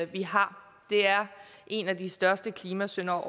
vi har det er en af de største klimasyndere